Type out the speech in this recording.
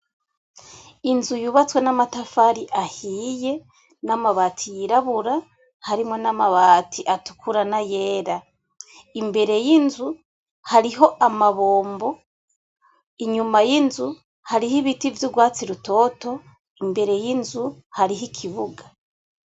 Inzu yubatswe namatafari ahiye namabati yirabura harimwo namabati atukura nayera imbere yinzu hariho amabombo inyuma yinzu hariho ibiti vyurwatsi rutoto imbere yinzu hariho ikibuga.